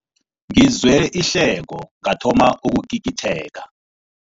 Ngizwe ihleko ngathoma ukugigitheka.